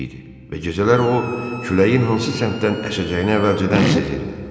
Və gecələr o küləyin hansı səmtdən əsəcəyini əvvəlcədən sezirdi.